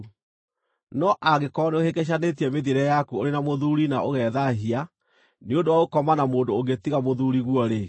No angĩkorwo nĩũhĩngĩcanĩtie mĩthiĩre yaku ũrĩ na mũthuuri na ũgethaahia nĩ ũndũ wa gũkoma na mũndũ ũngĩ tiga mũthuuriguo-rĩ,”